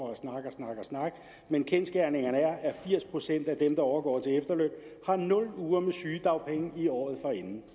snakke men kendsgerningerne er at firs procent af dem der overgår til efterløn har nul uger med sygedagpenge i året forinden